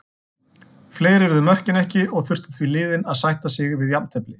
Fleiri urðu mörkin ekki og þurftu því liðin að sætta sig jafntefli.